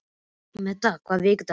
Metta, hvaða vikudagur er í dag?